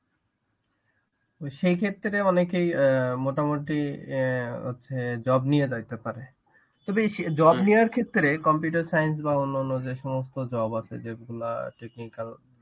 তো সেই ক্ষেত্রে অনেকেই অ্যাঁ মোটামুটি অ্যাঁ হচ্ছে job নিয়ে যাইতে পারে. তবে এই job নেওয়ার ক্ষেত্রে computer science বা অন্যান্য যে সমস্ত job আছে যেগুলা technical